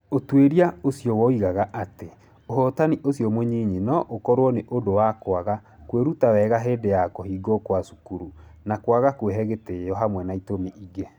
"Ũtuĩria ũcio woigaga atĩ, ũhotani ũcio mũnyinyi no ũkorũo nĩ ũndũ wa kwaga kwĩruta wega hĩndĩ ya kũhingwo kwa cukuru, na kwaga kwĩhe gĩtĩo, hamwe na itũmi ingĩ.